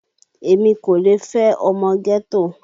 Èmi kò lè fẹ́ ọmọ ghetto